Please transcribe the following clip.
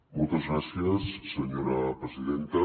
moltes gràcies senyora presidenta